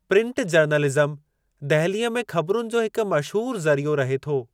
Print journalism दहिलीअ में ख़बरुनि जो हिकु मशहूरु ज़रियो रहे थो।